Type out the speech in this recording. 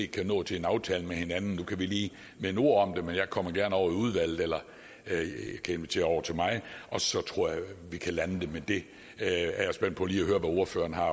kan nå til en aftale med hinanden nu kan vi lige vende ord om det men jeg kommer gerne over i udvalget eller kan invitere over til mig og så tror jeg vi kan lande det med det jeg er spændt på lige at høre hvad ordførerne har